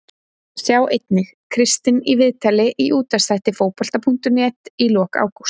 Sjá einnig: Kristinn í viðtali í útvarpsþætti Fótbolta.net í lok ágúst